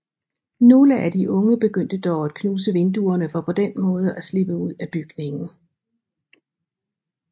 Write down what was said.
Nogle af de unge begyndte dog at knuse vinduerne for på den måde at slippe ud af bygningen